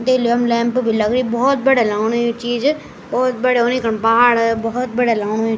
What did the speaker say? देख लियो यमु लैंप भी लगरीं भोत बढ़िया लगणु यु चीज भोत बढ़िया उन यखम पहाड़ बोहत बढ़िया लगणु।